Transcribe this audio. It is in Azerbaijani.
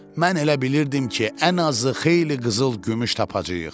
Mən elə bilirdim ki, ən azı xeyli qızıl gümüş tapacayıq.